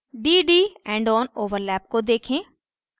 dd endon overlap को देखें